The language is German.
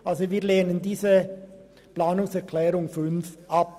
Daher lehnen wir den Antrag 5 ab.